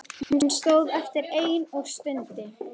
Hún stóð eftir ein og stundi.